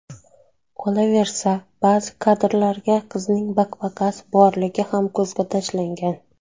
Qolaversa, ba’zi kadrlarda qizning baqbaqasi borligi ham ko‘zga tashlangan.